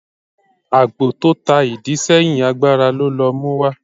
ágbò tọ tá ìdí seyín, àgbará lọ ló muwa.